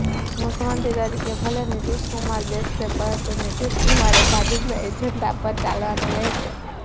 મુખ્યમંત્રી તરીકે ભલે નીતિશકુમાર બેસશે પરંતુ નીતિશકુમારે ભાજપના એજન્ડા પર ચાલવાનું રહેશે